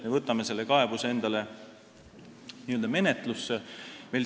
Me võtame selle kaebuse endale n-ö menetlusse.